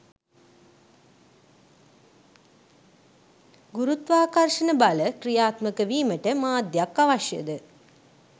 ගුරුත්වාකර්ෂණ බල ක්‍රියාත්මක වීමට මාධ්‍යයක් අවශ්‍යද?